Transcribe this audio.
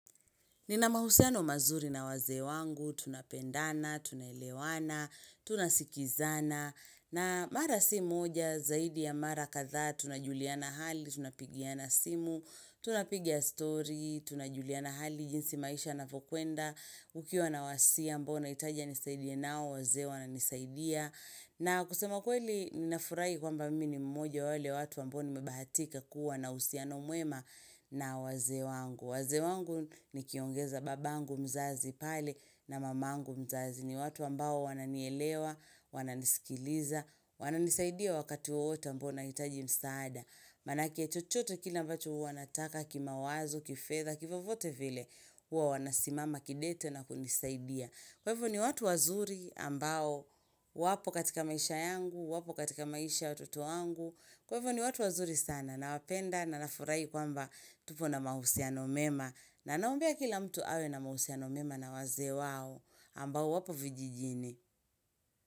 Nina mahusiano mazuri na wazee wangu, tunapendana, tunaelewana, tunasikizana, na mara si moja, zaidi ya mara kathaa tunajuliana hali, tunapigiana simu, tunapiga story, tunajuliana hali jinsi maisha yanavyokwenda, nikiwa na wasia ambao nahitaji nisaidiwe nao wazee wananisaidia. Na kusema ukweli nafurahi kwamba mimi ni mmoja wa wale watu ambao nimebahatika kuwa na uhusiano muema na wazee wangu. Wazee wangu nikiongeza babangu mzazi pale na mamangu mzazi. Ni watu ambao wananielewa, wananisikiliza, wananisaidia wakati wowote ambao nahitaji msaada. Manake chochote kile ambacho huwa nataka kimawazo, kifedha, kivyovyote vile. Huwa wanasimama kidete na kunisaidia. Kwa hivo ni watu wazuri ambao wapo katika maisha yangu, wapo katika maisha watoto wangu. Kwa hivo ni watu wazuri sana nawapenda na nafurahi kwamba tupo na mahusiano mema. Na naombea kila mtu awe na mahusiano mema na wazee wao ambao wapo vijijini.